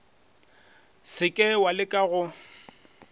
se ke wa leka go